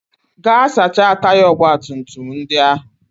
Gaa sachaa taya ọgbatumtum ndị ahụ!